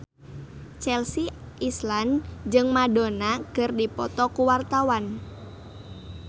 Chelsea Islan jeung Madonna keur dipoto ku wartawan